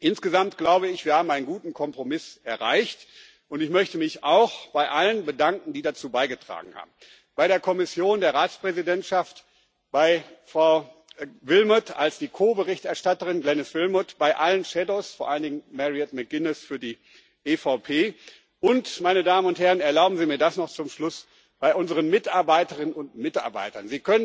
Insgesamt, glaube ich, haben wir einen guten Kompromiss erreicht, und ich möchte mich auch bei allen bedanken, die dazu beigetragen haben bei der Kommission, der Ratspräsidentschaft, bei Frau Glenis Willmott, als Ko Berichterstatterin, bei allen Schattenberichterstattern, vor allen Dingen Mairead McGuinness für die EVP, und meine Damen und Herren, erlauben Sie mir das noch zum Schluss bei unseren Mitarbeiterinnen und Mitarbeitern.